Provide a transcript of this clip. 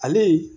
Ale